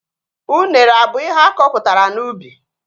Unere abụ ihe akọpụtara n'ubi?